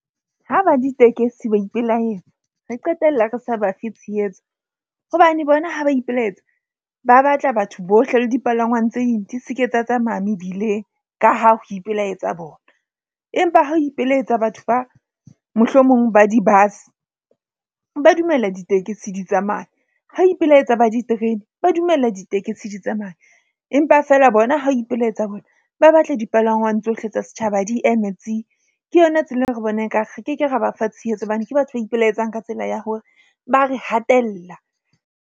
Ho ba ditekesi ba ipelaetsa re qetella re sa bafe tshehetso hobane bona ha ba ipelaetsa, ba batla batho bohle le dipalangwang tse ding, di se ke tsa tsamaya mebileng ka ha ho ipelaetsa bona. Empa ha ho ipelaetsa batho ba mohlomong ba di-bus, ba dumella ditekesi di tsamaye. Ha ipelaetsa ba diterene, ba dumella ditekesi di tsamaye. Empa feela bona ha ho ipelaetsa bona, ba batla dipalangwang tsohle tsa setjhaba di eme tsi. Ke yona tsela eo re bona ekare re keke ra ba fa tshehetso hobane ke batho ba ipelaetsang ka tsela ya hore ba re hatella.